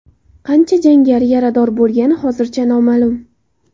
Qancha jangari yarador bo‘lgani hozircha noma’lum.